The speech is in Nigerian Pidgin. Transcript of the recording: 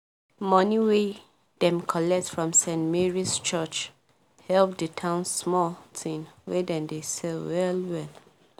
money wey dem collect from st. mary's church help the town small thing wey dem dey sell well well